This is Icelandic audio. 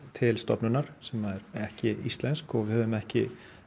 til stofnunar sem er ekki íslensk og við höfum ekki